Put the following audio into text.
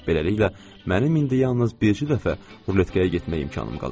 Beləliklə, mənim indi yalnız bircə dəfə ruletkaya getmək imkanım qalır.